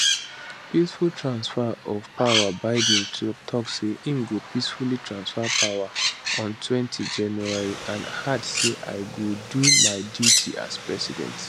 peaceful transfer of powerbiden tok say im go peacefully transfer power ontwentyjanuary and add say i go do my duty as president